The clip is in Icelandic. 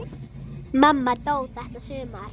Það var leitt.